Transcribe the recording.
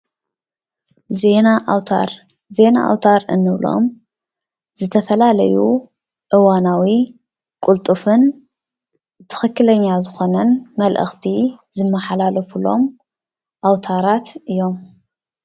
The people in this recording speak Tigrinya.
ዜና ኣውታር-ዜና ኣውታር እንብሎም ዝተፈላለዩ እዋናዊ ቅልጡፍን ትኽኽለኛ ዝኾነን መልእኽቲ ዝመሓላለፍሎም ኣውታራት እዮም፡፡